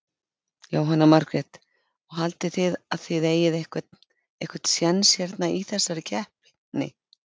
Jóhanna Margrét: Og haldið þið að þið eigið einhvern, einhvern séns hérna í þessari keppni?